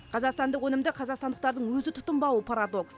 қазақстандық өнімді қазақстандықтардың өзі тұтынбауы парадокс